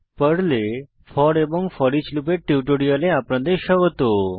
পর্লে ফোর এবং ফোরিচ লুপের টিউটোরিয়ালে আপনাদের স্বাগত